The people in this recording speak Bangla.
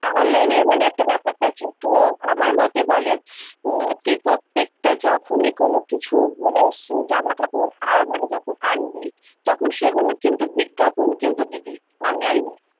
online এর মানে একটা বেপারটা আছে তো আমার মতে বলে, তুই প্রত্যেকটা যখনি কোনো কিছু মানে জামা-কাপড় মানে যখন আনবি, তখন সেইগুলোর কিন্তু বিজ্ঞাপন কিন্তু দিবি online এ-